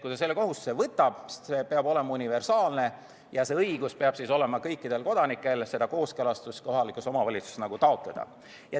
Kui ta selle kohustuse võtab, peab see olema universaalne ja õigus seda kooskõlastust kohalikus omavalitsuses taotleda peab olema kõikidel kodanikel.